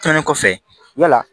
Tɛmɛnen kɔfɛ yala